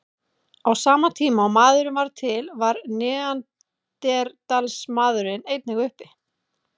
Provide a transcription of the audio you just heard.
Á sama tíma og maðurinn varð til var neanderdalsmaðurinn einnig uppi.